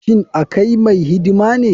Shin akai mai hidima ne.